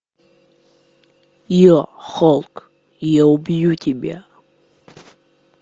е холк я убью тебя